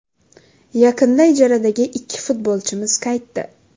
Yaqinda ijaradagi ikki futbolchimiz qaytdi.